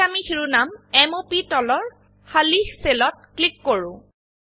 এতিয়া আমি শিৰোনাম m o প তলৰ খালি সেলত ক্লিক কৰো